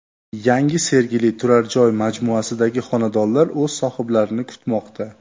Yangi Sergeli turar joy majmuasidagi xonadonlar o‘z sohiblarini kutmoqda.